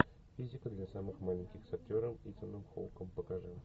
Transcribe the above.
физика для самых маленьких с актером итаном хоуком покажи